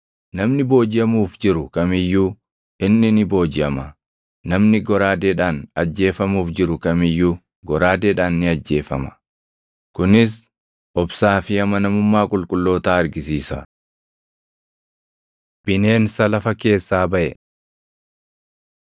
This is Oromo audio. “Namni boojiʼamuuf jiru kam iyyuu inni ni boojiʼama. Namni goraadeedhaan ajjeefamuuf jiru kam iyyuu goraadeedhaan ni ajjeefama.” Kunis obsaa fi amanamummaa qulqullootaa argisiisa. Bineensa Lafa Keessaa Baʼe